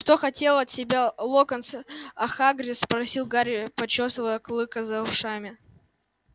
а что хотел от тебя локонс а хагрид спросил гарри почёсывая клыка за ушами